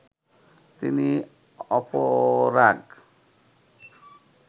তিনি অপরাগ